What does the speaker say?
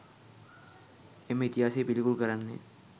එම ඉතිහාසය පිළිකුල් කරන්නේ